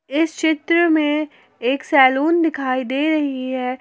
इस चित्र में एक सैलून दिखाई दे रही है।